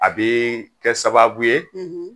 A bɛ kɛ sababu ye